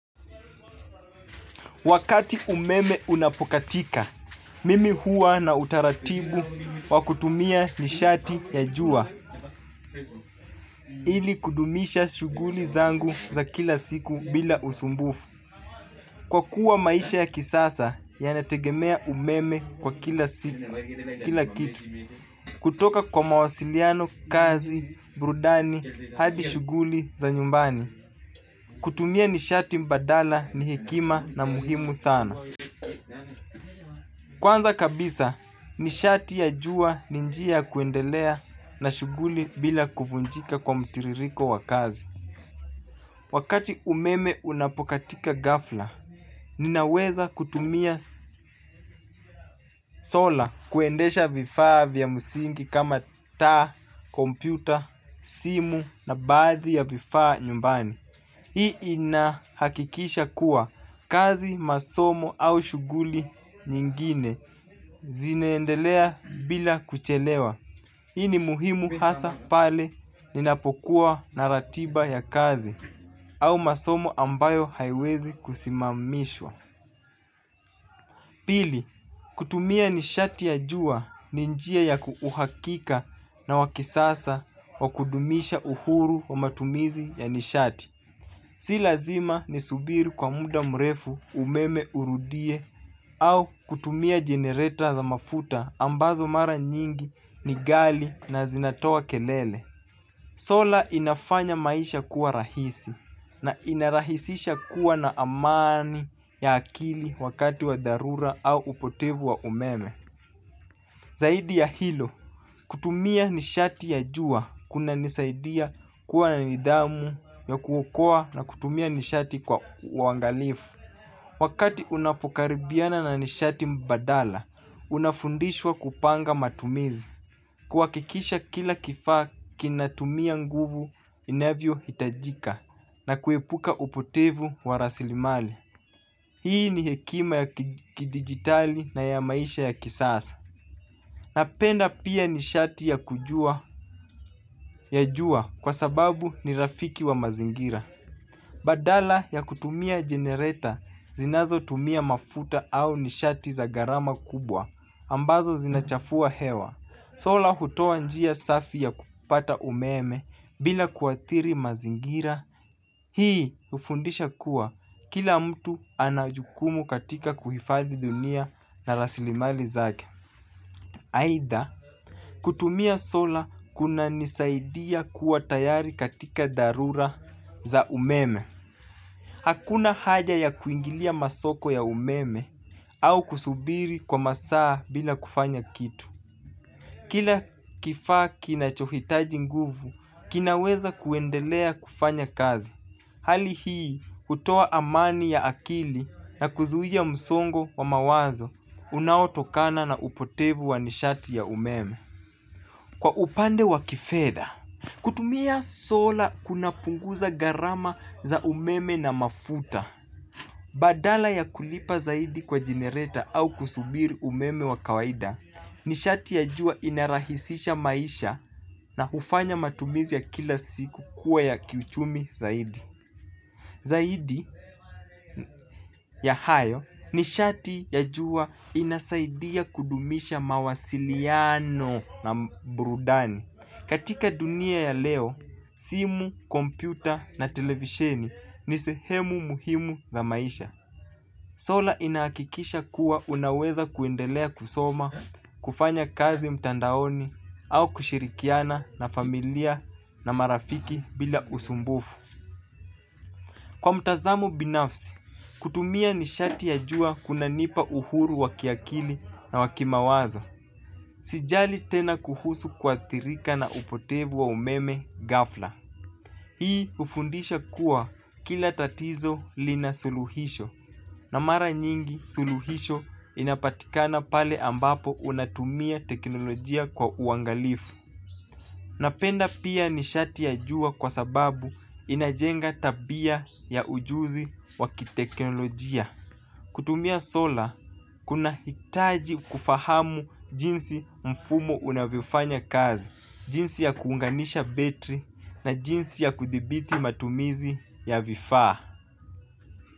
Wakati umeme unapokatika, mimi huwa na utaratibu wa kutumia nishati ya jua ili kudumisha shughuli zangu za kila siku bila usmbufu kwa kuwa maisha ya kisasa yanategemea umeme kwa kila kitu. Kutoka kwa mawasiliano, kazi, burudani, hadi shughuli za nyumbani kutumia nishati mbadala ni hekima na muhimu sana. Kwanza kabisa, nishati ya jua ninjia kuendelea na shughuli bila kuvunjika kwa mtiririko wakazi. Wakati umeme unapokatika gafla, ninaweza kutumia sola kuendesha vifaa vya msingi kama taa, kompyuta, simu na baadhi ya vifaa nyumbani. Hii inahakikisha kuwa kazi masomo au shughuli nyingine zineendelea bila kuchelewa. Hii ni muhimu hasa pale ninapokuwa na ratiba ya kazi au masomo ambayo haiwezi kusimamishwa. Pili, kutumia nishati ya juwa ninjia ya uhakika na wakisasa wa kudumisha uhuru wa matumizi ya nishati. Si lazima ni subiri kwa muda mrefu umeme urudie au kutumia generator za mafuta ambazo mara nyingi ni ghali na zinatoa kelele. Sola inafanya maisha kuwa rahisi na inarahisisha kuwa na amani ya akili wakati wa dharura au upotevu wa umeme. Zaidi ya hilo, kutumia nishati ya jua kuna nisaidia kuwa na nidhamu ya kuokoa na kutumia nishati kwa uwangalifu. Wakati unapokaribiana na nishati mbadala, unafundishwa kupanga matumizi. Kwa kikisha kila kifaa kinatumia nguvu inavyo hitajika na kuipuka upotevu warasilimali. Hii ni hekima ya kidigitali na ya maisha ya kisasa. Napenda pia nishati ya kujua ya jua kwa sababu ni rafiki wa mazingira. Badala ya kutumia jenereta zinazo tumia mafuta au nishati za garama kubwa ambazo zinachafua hewa sola hutoa njia safi ya kupata umeme bila kuathiri mazingira. Hii ufundisha kuwa kila mtu anajukumu katika kuhifadhi dunia na rasilimali zake. Aidhaa kutumia sola kuna nisaidia kuwa tayari katika dharura za umeme. Hakuna haja ya kuingilia masoko ya umeme au kusubiri kwa masaa bila kufanya kitu. Kila kifaa kina chohitaji nguvu kinaweza kuendelea kufanya kazi. Hali hii utoa amani ya akili na kuzuia msongo wa mawazo unaotokana na upotevu wanishati ya umeme. Kwa upande wa kifedha, kutumia sola kuna punguza gharama za umeme na mafuta. Badala ya kulipa zaidi kwa jinereta au kusubiri umeme wa kawaida ni shati ya jua inarahisisha maisha na ufanya matumizi ya kila siku kuwa ya kiuchumi zaidi. Zaidi ya hayo nishati ya jua inasaidia kudumisha mawasiliano naburudani. Katika dunia ya leo, simu, kompyuta na televisheni ni sehemu muhimu za maisha. Sola inaakikisha kuwa unaweza kuendelea kusoma, kufanya kazi mtandaoni au kushirikiana na familia na marafiki bila usumbufu. Kwa mtazamo binafsi, kutumia nishati ya jua kuna nipa uhuru wakiakili na wakimawazo. Sijali tena kuhusu kuathiriika na upotevu wa umeme ghafla. Hii ufundisha kuwa kila tatizo lina suluhisho na mara nyingi suluhisho inapatikana pale ambapo unatumia teknolojia kwa uangalifu. Napenda pia ni shati ya jua kwa sababu inajenga tabia ya ujuzi wakiteknolojia. Kutumia sola, kuna hitaji kufahamu jinsi mfumo unavifanya kazi, jinsi ya kuunganisha betri na jinsi ya kudibiti matumizi ya vifaa.